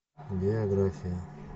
география